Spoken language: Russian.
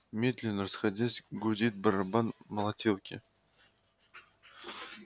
медленно расходясь гудит барабан молотилки